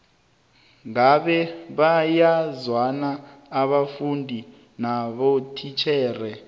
ngabe bayazwana abafundi nabotitjhere